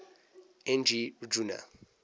n g rjuna